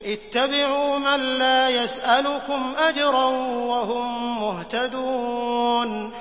اتَّبِعُوا مَن لَّا يَسْأَلُكُمْ أَجْرًا وَهُم مُّهْتَدُونَ